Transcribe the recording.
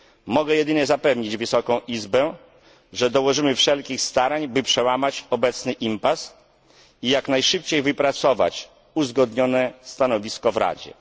Mogę jedynie zapewnić Wysoką Izbę, że dołożymy wszelkich starań, by przełamać obecny impas i jak najszybciej wypracować uzgodnione stanowisko w Radzie.